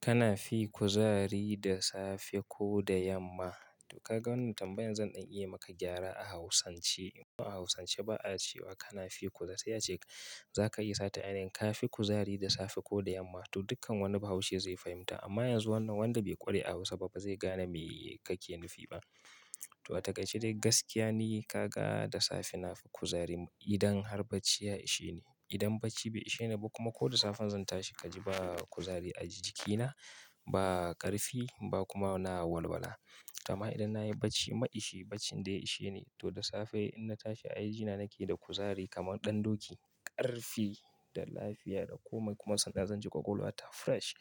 Kana fi kuzari da safe ko da yamma? To ka ga wannan tambayan zan dan iya maka gyara a Hausance. A Hausance ba'a cewa kana fi kuzari, sai a ce za ka yi sata a yanayin ka fi kuzari da safe ko da yamma. To duk kan wani Bahaushe zai fahimta amma yanzu wannan wanda bai ƙware a Hausa ba zai gane me kake nufi ba. To a takaice dai gaskiya ne kaga da safe nafi kuzari idan har bacci ya ishe ni. Idan bacci bai ishe ni ba kuma ko da safe zan tashi kaji ba kuzari a jikina, ba ƙarfi ba kuma na walwala. To amma idan nayi bacci ma ishi, baccin da ya ishe ni to da safe in na tashi ai ajina nake da kuzari kamar ɗan doki, ƙarfi da lafiya da komai kuma sannan zan ji ƙwaƙwalwa ta fresh,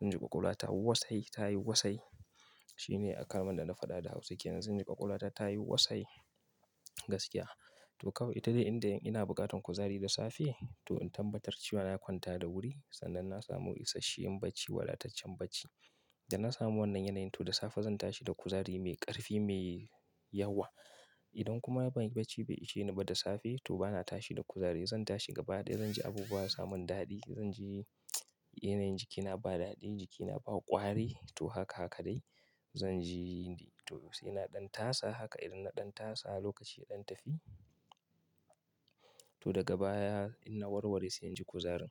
zan ji ƙwaƙwalwa ta wasai, ta yi wasai. Shine a kalman da na faɗa da Hausa kenan. Zan ji ƙwaƙwalwata tayi wasai gaskiya. To kawai ita dai inda ina buƙatan kuzari da safe to in tabbatar cewa na kwanta da wuri sannan na samu ishenshen bacci, wadataccen bacci. Da na samu wannan yanayi to da safe zan tashi da kuzari mai ƙarfi, mai yawa. Idan kuma banyi bacci bai ishe ni ba da safe to bana tashi da kuzari. Zan tashi gaba ɗaya zan ji abubuwa ba samun daɗi. Zan ji yanayin jikina ba daɗi, jikina ba ƙwari to haka haka dai. Zan ji to sai na ɗan tasa haka idan na ɗan tasa lokaci ya ɗan tafi to daga baya in na warware sai inji kuzarin.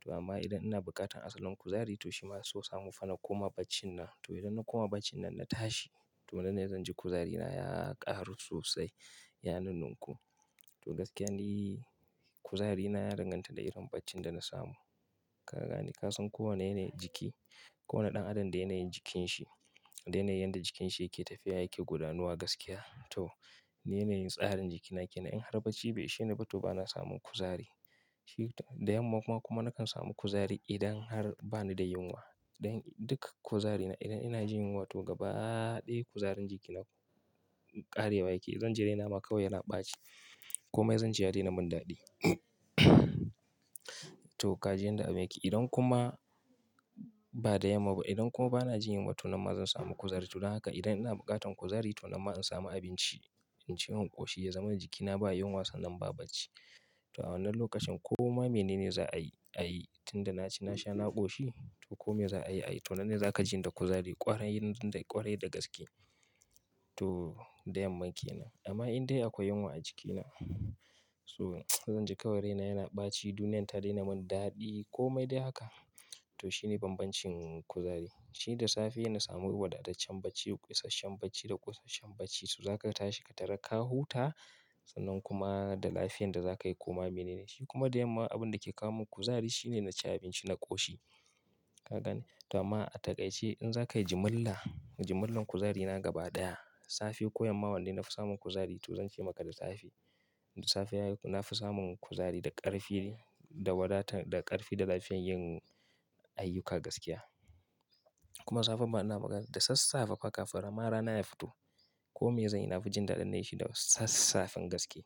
To amma idan ina buƙatan asalin kuzari to shima so samu na koma bacinan. To idan na koma bacinan na tashi to nan ne zan ji kuzarina ya ƙaru sosai. Ya nun-nunku to gaskiya ne kuzarina ya danganta da irin baccin da na samu. Ka gane? Ka san kowane yanayin jiki, kowane ɗan adam da yanayin jikin shi, da yanayin yanda jikin shi yake tafiya yake gudanuwa gaskiya. To ni yanayin tsarin jikina kenan in har bacci bai ishe ni ba to bana samun kuzari. Shi da yamma kuma kuma nakan samu kuzari idan har bani da yunwa. Duk kan kuzarina idan ina jin yunwa to gaba ɗaya kuzarin jikina ƙarewa yake. Zan ji raina ma kawai yana ɓaci. Komai zan ji ya daina mun daɗi. To ka ji yanda abun yake. Idan kuma ba da yamma ba, idan kuma bana jin yunwa to nan ma zan samu kuzari. To don haka idan ina buƙatan kuzari to nan ma in samu abinci, in ci in ƙoshi ya zamana jikina baya yunwa sannan ba bacci. To a wannan lokacin koma mene ne za'a yi a yi. Tun da naci na sha na ƙoshi to komai za'a yi a yi. To nan ne za ka ji ni da kuzari ƙwarai ƙwarai da gaske. To da yamma kenan. Amma in dai akwai yunwa a jikina to zan ji ƙawai raina yana ɓaci, duniyar ta daina mun daɗi komai dai haka. To shine bambancin kuzari. Shi da safe na samu wadataccen bacci, kosasshen bacci da kosasshen bacci so za ka tashi ka tarar ka huta sannan kuma da lafiyan da zaka yi koma mene ne. Shi kuma da yamma abun da ke kawo mun kuzari shine na ci abinci na ƙoshi. Ka gane? To amma a takaice in za ka yi jimilla, jimillar kuzarina gaba ɗaya safe ko yamma wanne nafi samun kuzari to zan ce maka da safe. Da safe nafi samun kuzari da ƙarfi, da wadata, da ƙarfi da lafiyan yin ayyuka gaskiya. Kuma safe bana magana da sassafe fa kafin ma rana ya fito komai zan yi nafi jin daɗin nai shi da sassafen gaske.